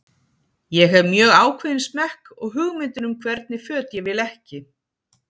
Ég hef mjög ákveðinn smekk og hugmyndir um hvernig föt ég vil ekki.